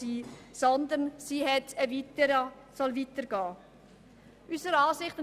Sie soll vielmehr weiterreichen.